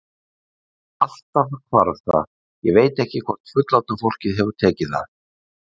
Alltaf hvarf það, ég veit ekki hvort fullorðna fólkið hefur tekið það.